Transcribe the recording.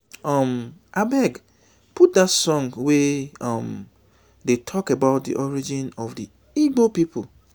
um abeg put dat song wey um dey talk about the origin of the igbo people